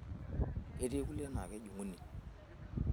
Ketii kulie naa kejung'uni.